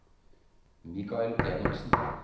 Michael Enoksen